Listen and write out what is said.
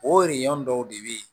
O dɔw de bɛ ye